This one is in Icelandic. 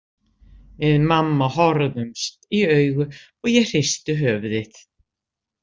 Við mamma horfðumst í augu og ég hristi höfuðið.